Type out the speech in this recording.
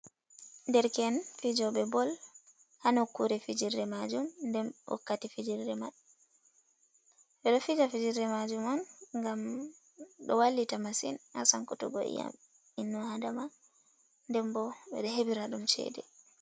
Derken fijoɓe bol ha nokkure fijirde majum ndenbo wakkati fijirde man ɓeɗo fija fijirde majum on gam ɗo wallita masin ha sankutuggo i'yam innu adama nden bo ɓeɗo heɓira ɗum chede.